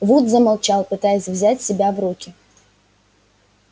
вуд замолчал пытаясь взять себя в руки